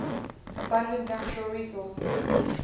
abundant natural resources